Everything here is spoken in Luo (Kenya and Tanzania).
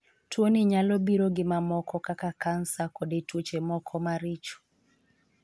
Tuoni nyalo biro gi mamoko kaka kansa koda tuoche moko maricho.